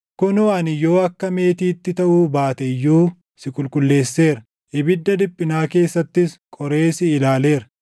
Kunoo, ani yoo akka meetiitti taʼuu baate iyyuu // si qulqulleesseera; ibidda dhiphinaa keessattis qoree si ilaaleera.